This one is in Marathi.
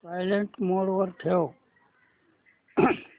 सायलेंट मोड वर ठेव